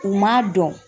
U m'a dɔn